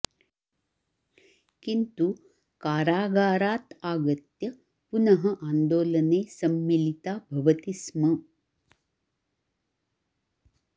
किन्तु कारागारात् आगत्य पुनः आन्दोलने सम्मिलिता भवति स्म